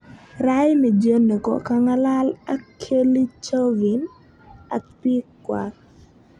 "Raini jioni ko kangalal ak Kellie Chauvin ak pik kwak.